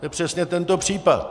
To je přesně tento případ.